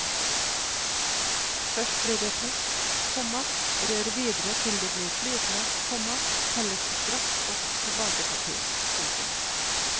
Først blir det tørt, komma rør videre til det blir flytende, komma helles straks opp på bakepapir. punktum